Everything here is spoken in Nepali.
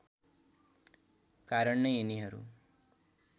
कारण नै यिनीहरू